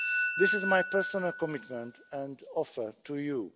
This is my personal commitment and offer to you.